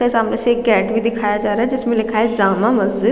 त सामने से एक गेट भी दिखाया जा रहा है जिसमें लिखा है जमा मस्जिद --